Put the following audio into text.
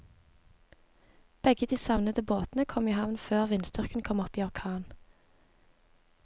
Begge de savnede båtene kom i havn før vindstyrken kom opp i orkan.